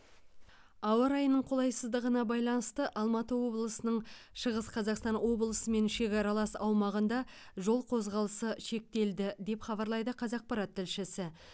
ауа райының қолайсыздығына байланысты алматы облысының шығыс қазақстан облысымен шекаралас аумағында жол қозғалысы шектелді деп хабарлайды қазақпарат тілшісі